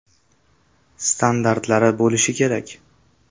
Standartlari bo‘lishi kerak.